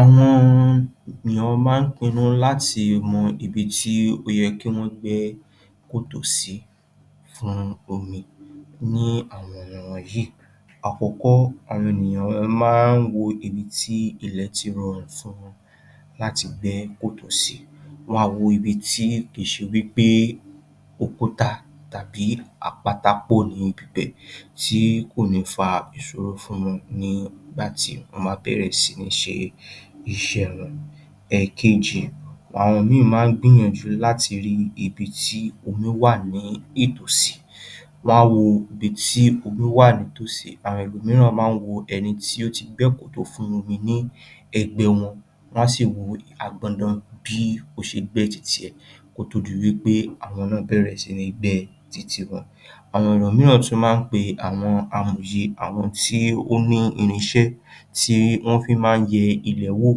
Àwọn èèyàn máa ń pinnu láti mọ ibi tó yẹ kí wọ́n gbẹ́ kòtò sí fún omi ni àwọn wọ̀nyìí. Àkọ́kọ́, àwọn ènìyàn máa ń wo ibi tí ilẹ̀ ti rọrùn fún wọn láti gbẹ́ kòtò sí. Wọ́n á wo ibi tí kì í ṣe wí pé òkúta tàbí àpáta pọ̀ ní ibi bẹ́ẹ̀ ṣé kò ní fa ìṣòro fún wọn nígbà tí wọ́n bá bẹ̀rẹ̀ sí ní ṣe iṣẹ́ wọn. Ẹ̀kejì, àwọn ìmíì máa ń gbìyànjú láti rí ibi tí omi wà ní ìtòsí um wọ́n á wo ibi tí omi wà nítòsí, àwọn ẹlòmìíràn máa ń wo ẹni tó ti gbẹ́ kòtò fún omi ní ẹ̀gbẹ́ wọn, wọ́n á sì wo bí ó ti gbẹ́ ti tiẹ̀, kó tó di wí pé àwọn náà bẹ̀rẹ̀ sí ní gbẹ́ ti tiwọn. Àwọn mìíràn sì máa ń pe àwọn amòye, àwọn tí ó ní irinṣẹ́ tí wọ́n fi máa ń yẹ ilẹ̀ wò láti mọ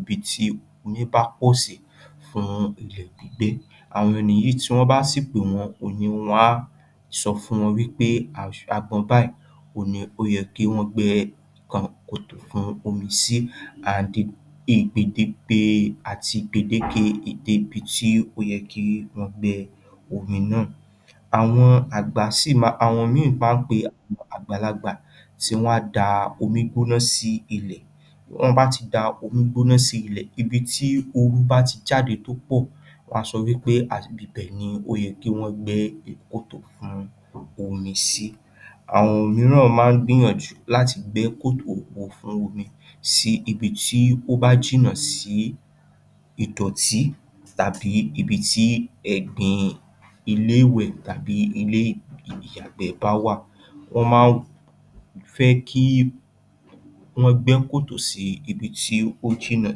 ibi tí omi bá pọ̀ sí fún ilẹ̀ gbígbẹ́. Àwọn míì tí wọ́n bá sì pè wọ́n, òye wọn á sọ fún wọn wí pé apá báyìí òhun ló yẹ kí wọ́n gbẹ́ kòtò fún omi sí ó yẹ́ kí wọ́n gbẹ́ omi náà. Àwọn àgbà, um àwọn mìíràn máa ń pe àgbàlagbà tí wọn á da omi gbóná sí il. Bí wọ́n bá ti da omi gbóná sí ilẹ̀, ibi tí òru bá ti jade tó pọ̀, wọ́n á sọ wí agbègbè ibẹ̀ ni ó yẹ́ kí wọ́n gbẹ́ kòtò fún omi sí. Àwọn mìíràn máa ń gbìyànjú láti gbẹ́ kòtò wọn fún omi sí ibi tí ó bá jìnnà sí ìdọ̀tí tàbí ibi tí ẹ̀gbin ilé-ìwẹ̀ tàbí ilé-ìyàgbẹ́ bá wà. Wọ́n máa ń fẹ́ kí wọ́n gbẹ́ kòtò sí ibi tó jìnnà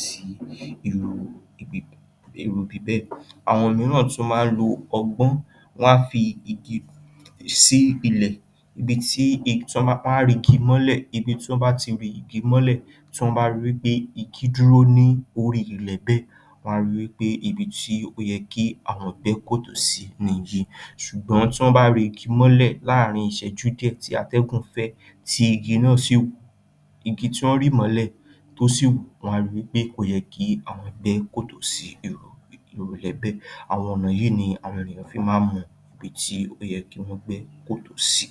sí irú ibi bẹ́ẹ̀. Àwọn mìíràn tún máa ń lo ọgbọ́n, wọ́n á fi igi sí ilẹ̀. Tí wọ́n bá ri igi mọ́lẹ̀, tí wọ́n bá rí pé igi dúró lórí ilẹ̀ bẹ́ẹ̀, wọ́n á ri pé ibi tó yẹ kí àwọn gbẹ́ kòtò sí nìyí, ṣùgbọ́n tí wọ́n bá ri igi mọ́lẹ̀ láàrin ìṣẹ́jú díẹ̀ tí atẹ́gùn fẹ́, um tí igi náà sì wòó um. Wọ́n á ri wí pé kò yẹ kí àwọn gbẹ́ kòtò sí irú ilẹ̀ bẹ́ẹ̀. Àwọn ọ̀nà yìí ni èèyàn fi máa ń mọ ibi tí ó yẹ́ kí wọ́n gbẹ́ kòtò sí.